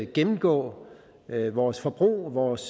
gennemgå vores forbrug vores